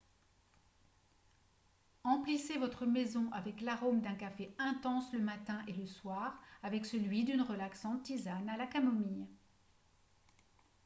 emplissez votre maison avec l'arôme d'un café intense le matin et le soir avec celui d'une relaxante tisane à la camomille